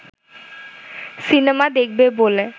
cinema দেখবে বলে